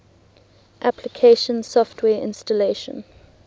application software installation